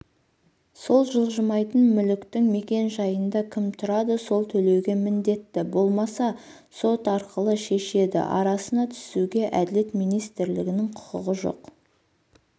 сол жылжымайтын мүліктің мекен-жайында кім тұрады сол төлеуге міндетті болмаса сот арқылы шешеді арасына түсуге әділет министрлігінің құқығы жоқ